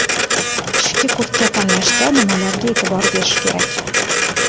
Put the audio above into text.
Qishki kurtka tanlashda nimalarga e’tibor berish kerak?.